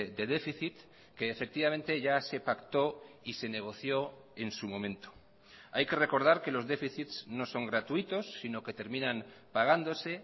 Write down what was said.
de déficit que efectivamente ya se pactó y se negoció en su momento hay que recordar que los déficits no son gratuitos si no que terminan pagándose